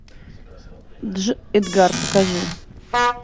дж эдгар покажи